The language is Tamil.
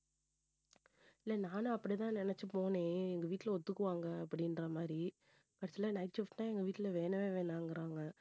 இல்லை நானும் அப்படித்தான் நினைச்சு போனேன் எங்க வீட்டுல ஒத்துக்குவாங்க அப்படின்ற மாதிரி night shift தான் எங்க வீட்டுல வேணவே வேணாங்கறாங்க